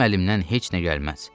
Mənim əlimdən heç nə gəlməz.